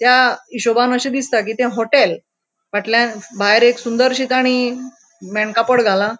त्या हिशोबान अशे दिसता कि ते होटेल फाटल्यान भायर एक सुंदर ठिकानी मेणकापड घाला.